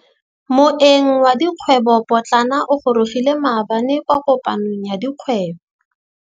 Moêng wa dikgwêbô pôtlana o gorogile maabane kwa kopanong ya dikgwêbô.